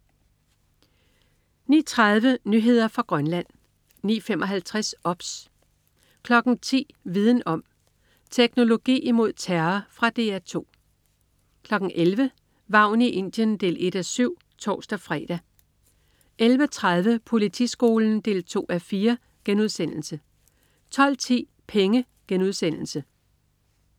09.30 Nyheder fra Grønland 09.55 OBS 10.00 Viden om: Teknologi imod terror. Fra DR 2 11.00 Vagn i Indien 1:7 (tors-fre) 11.30 Politiskolen 2:4* 12.10 Penge*